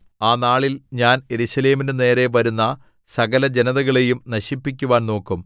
ആ നാളിൽ ഞാൻ യെരൂശലേമിന്റെ നേരെ വരുന്ന സകലജനതകളെയും നശിപ്പിക്കുവാൻ നോക്കും